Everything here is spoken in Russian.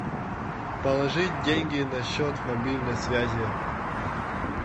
положить деньги на счет мобильной связи